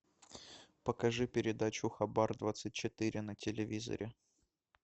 покажи передачу хабар двадцать четыре на телевизоре